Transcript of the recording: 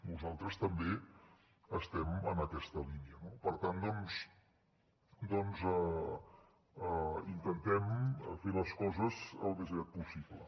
nosaltres també estem en aquesta línia no per tant doncs intentem fer les coses al més aviat possible